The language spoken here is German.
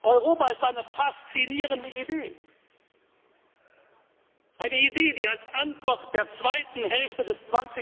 Europa ist eine faszinierende Idee eine Idee, die als Antwort der zweiten Hälfte